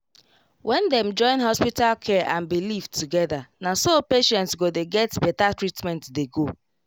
when dem join hospital care and belief together naso patients go dey get better treatment dey go